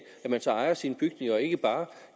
man så ejer sine bygninger og ikke bare